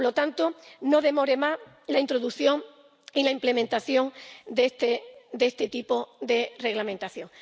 Por lo tanto, le animo a que no demore más la introducción y la implementación de este de este tipo de reglamentación.